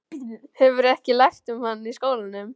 Hefurðu ekki lært um hann í skólanum?